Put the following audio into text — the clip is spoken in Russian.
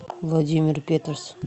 владимир петус